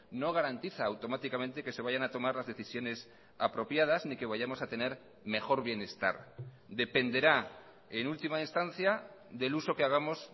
no garantiza automáticamente que se vayan a tomar las decisiones apropiadas ni que vayamos a tener mejor bienestar dependerá en última instancia del uso que hagamos